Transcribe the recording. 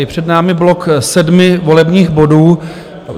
Je před námi blok sedmi volebních bodů.